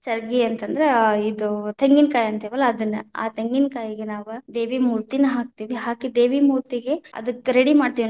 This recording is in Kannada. ಚರಗಿ ಅಂತ ಅಂದ್ರ ಆ ಇದು ತೆಂಗಿನಕಾಯಿ ಅಂತೆವಲ್ಲಾ ಅದನ್ನ, ಆ ತೆಂಗಿನಕಾಯಿಗ ನಾವ್‌ ದೇವಿನ ಮೂತಿ೯ನ ಹಾಕತೀವಿ, ಹಾಕಿ ದೇವಿ ಮೂತಿ೯ಗೆ ಅದಕ್ಕ ready ಮಾಡ್ತೇವಿ.